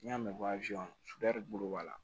N'i y'a mɛn ko suya de bolo b'a la